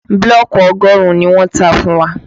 Bílọ̀kì ọgọ́rùn-ún ni wọ́n tà fún wa